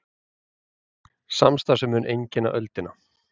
Samstarf sem mun einkenna öldina